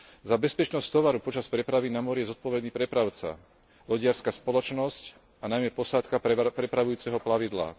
Za bezpečnosť tovaru počas prepravy na mori je zodpovedný prepravca, lodiarska spoločnosť a najmä posádka prepravujúceho plavidla.